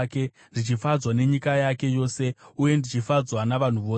ndichifadzwa nenyika yake yose uye ndichifadzwa navanhu vose.